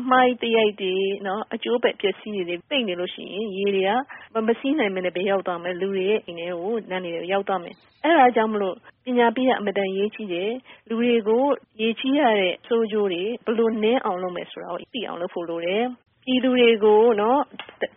အမှိုက်သရိုက်တွေ၊ အကျိုးအပဲ့ အပျက်အစီးတွေနဲ့ ပိတ်နေလို့ ရှိရင်၊ ရေတွေက မစီးနိုင်ပဲနဲ့ လူတွေရဲ့ အိမ်တွေ၊ လမ်းတွေထဲကို ရောက်သွားမယ်။ အဲဒါကြောင့် မို့ ပညာပေးက အင်မတန် အရေးကြီးတယ်။ လူတွေကို ရေကြီးရတဲ့ ဆိုးကျိုးတွေ ဘယ်လို နဲအောင် လုပ်မယ် ဆိုတာ သိအောင် လုပ်ဖို့ လိုတယ်။ ပြည်သူတွေကို